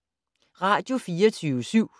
Radio24syv